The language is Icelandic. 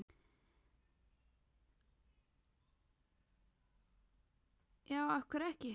já af hverju ekki